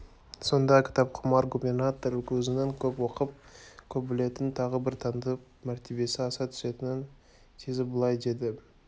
сонда кітапқұмар губернатор өзінің көп оқып көп білетінін тағы бір танытып мәртебесі аса түсетінін сезіп былай деді